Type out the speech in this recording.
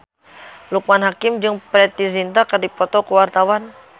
Loekman Hakim jeung Preity Zinta keur dipoto ku wartawan